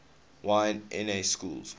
y na schools